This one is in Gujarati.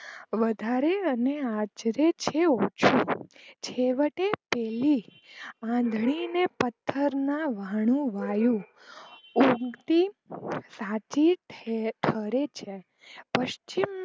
વધારે અને આજરે છે ઓછું છેવટે પેલી આંધળીને પથ્થરનાં વાયુ ઉગતી સાચી ઠરે છે પશ્ચિમ